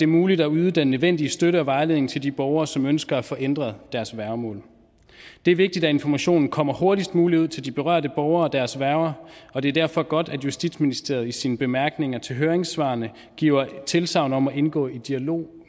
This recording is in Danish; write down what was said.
muligt at yde den nødvendige støtte og vejledning til de borgere som ønsker at få ændret deres værgemål det er vigtigt at informationen kommer hurtigst muligt ud til de berørte borgere og deres værger og det er derfor godt at justitsministeriet i sine bemærkninger til høringssvarene giver tilsagn om at ville indgå i dialog